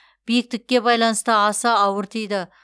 биіктікке байланысты аса ауыр тиді